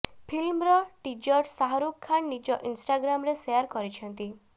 ଫିଲ୍ମର ଟିଜ୍ର ଶାହାରୁଖ୍ ଖାନ୍ ନିଜ ଇନ୍ଷ୍ଟାଗ୍ରାମରେ ସେୟାର କରିଛନ୍ତି